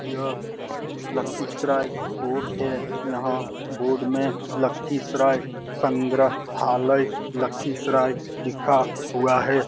यह लखीसराय कोर्ट है। यहाँ बोर्ड में लखीसराय संग्रहालय लखीसराय लिखा हुआ है।